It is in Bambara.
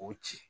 K'o ci